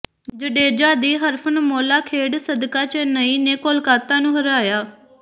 ਜਡੇਜਾ ਦੀ ਹਰਫ਼ਨਮੌਲਾ ਖੇਡ ਸਦਕਾ ਚੇੱਨਈ ਨੇ ਕੋਲਕਾਤਾ ਨੂੰ ਹਰਾਇਆ